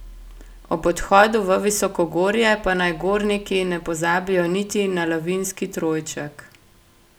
Ob odhodu v visokogorje pa naj gorniki ne pozabijo niti na lavinski trojček.